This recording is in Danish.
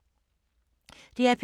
DR P2